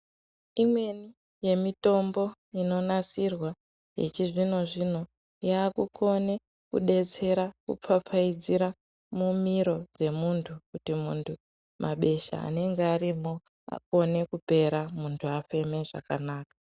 Imweni yemitombo inonasirwa yechizvino zvino yakukone kudetsera kupfapfaidzira mumiro dzemuntu kuti muntu mabesha anenge arimwo akone kupera muntu afeme zvakanaka.